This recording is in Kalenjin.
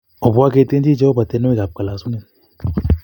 Obwa ketienji Jehova tienwokik ab kalosunet